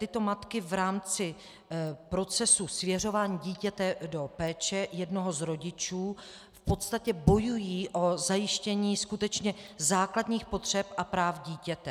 Tyto matky v rámci procesu svěřování dítěte do péče jednoho z rodičů v podstatě bojují o zajištění skutečně základních potřeb a práv dítěte.